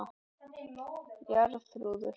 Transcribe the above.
Jarþrúður